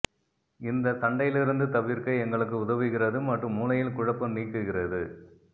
இந்த சண்டையிலிருந்து தவிர்க்க எங்களுக்கு உதவுகிறது மற்றும் மூளையில் குழப்பம் நீக்குகிறது